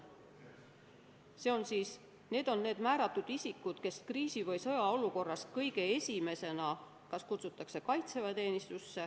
Sõjaaja ametkohal on need määratud isikud, kes kriisi- või sõjaolukorras kutsutakse kõige esimesena kaitseväeteenistusse.